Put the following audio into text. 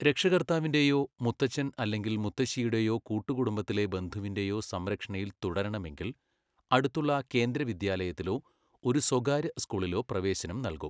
രക്ഷകർത്താവിന്റെയോ മുത്തച്ഛൻ അല്ലെങ്കിൽ മുത്തശ്ശിയുടെയോ കൂട്ടുകുടുംബത്തിലെ ബന്ധുവിന്റെയോ സംരക്ഷണയിൽ തുടരണമെങ്കിൽ, അടുത്തുള്ള കേന്ദ്ര വിദ്യാലയത്തിലോ ഒരു സ്വകാര്യ സ്കൂളിലോ പ്രവേശനം നൽകും.